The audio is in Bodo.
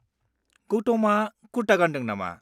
गौतमआ कुर्ता गानदों नामा?